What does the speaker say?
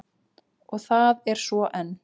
Og það er svo enn.